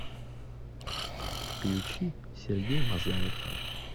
включи сергей мазаев